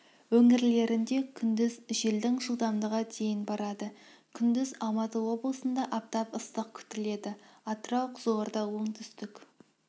өңірлерінде күндіз желдің жылдамдығы дейін барады күндіз алматы облысында аптап ыстық күтіледі атырау қызылорда оңтүстік